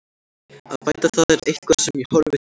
Að bæta það er eitthvað sem ég horfi til.